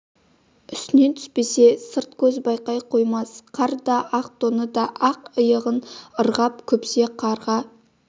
үстінен түспесе сырт көз байқай қоймас қар да ақ тоны да ақ иығын ырғап күпсе қарға